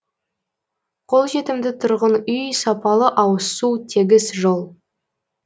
қолжетімді тұрғын үй сапалы ауызсу тегіс жол